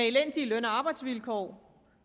elendige løn og arbejdsvilkår